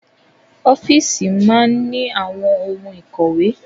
Ọ́fíìsì máa ní àwọn ohun ìkọ̀wé.